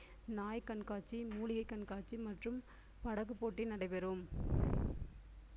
நாய் கண்காட்சி, மூலிகை கண்காட்சி மற்றும் படகு போட்டி நடைபெறும்